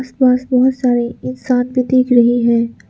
पास बहोत सारे इंसान भी दिख रहे है।